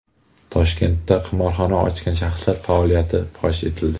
Toshkentda qimorxona ochgan shaxslar faoliyati fosh etildi.